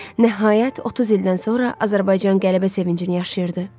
Nəhayət, 30 ildən sonra Azərbaycan qələbə sevincini yaşayırdı.